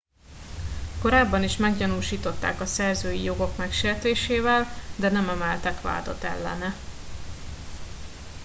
korábban is meggyanúsították a szerzői jogok megsértésével de nem emeltek vádat ellene